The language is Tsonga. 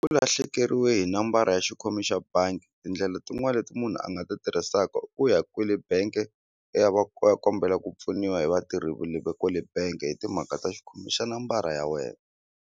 U lahlekeriwe hi nambara ya xikhomi xa bangi tindlele tin'wani leti munhu a nga ti tirhisaka ku ya kwele benge u ya u ya kombela ku pfuniwa hi vatirhi kwale benge hi timhaka ta xikhomi xa nambara ya wena.